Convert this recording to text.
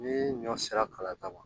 Ni ɲɔ sera kala ma